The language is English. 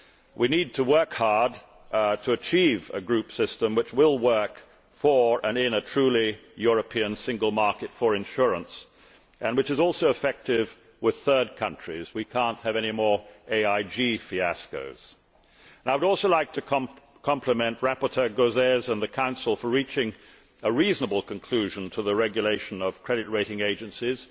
We need to work hard to achieve a group system that will work for and in a truly European single market for insurance, which is also effective with third countries we cannot have any more AIG fiascos. I would also like to compliment rapporteur Gauzès and the Council on reaching a reasonable conclusion to the regulation of credit rating agencies.